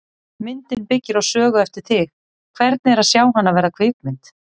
Myndin byggir á sögu eftir þig, hvernig er að sjá hana verða kvikmynd?